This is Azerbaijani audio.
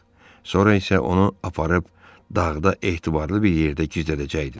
Sonra isə onu aparıb dağda etibarlı bir yerdə gizlədəcəkdilər.